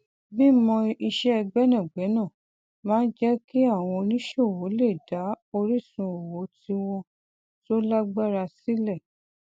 mímọ iṣẹ gbẹnàgbẹna máa ń jẹ kí àwọn oníṣòwò lè dá orísun owó tíwọn tó lágbára sílẹ